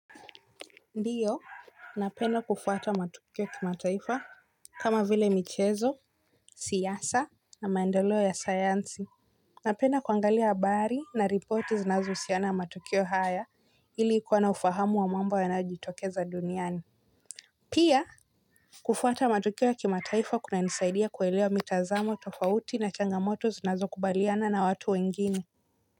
Ndio, napenda kufuata matukio kimataifa kama vile michezo, siasa na maendelo ya sayansi. Napenda kuangalia habari na ripoti zinazohusiana na matukio haya ilikuwa na ufahamu wa mambo yanayojitokeza duniani. Pia, kufuata matukio ya kimataifa kunanisaidia kuelewa mitazamo tofauti na changamoto zinazo kubaliana na watu wengine.